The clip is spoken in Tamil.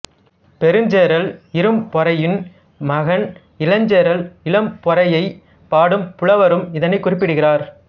பெருஞ்சேரல் இரும்பொறையின் மகன் இளஞ்சேரல் இரும்பொறையைப் பாடும் புலவரும் இதனைக் குறிப்பிடுகிறார்